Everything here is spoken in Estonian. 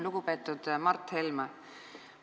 Lugupeetud Mart Helme!